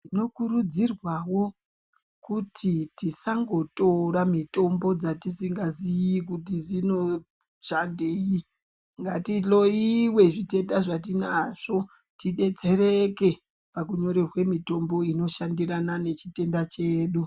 Tinokurudzirwawo kuti tisangotora mitombo dzatisingazii kuti dzinoshandei ngatihloyiwe zvitenda zvatinazvo tidetsereke pakunyorerwe mitombo inoshandirana nechitenda chedu.